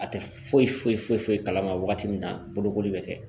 A tɛ foyi foyi kalama wagati min na bolokoli bɛ kɛ